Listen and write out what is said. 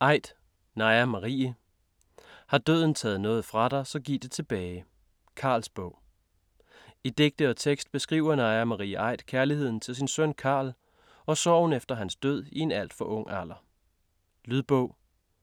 Aidt, Naja Marie: Har døden taget noget fra dig så giv det tilbage: Carls bog I digte og tekst beskriver Naja Marie Aidt kærligheden til sin søn Carl, og sorgen efter hans død i en alt for ung alder. Lydbog